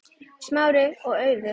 Smári og Auður.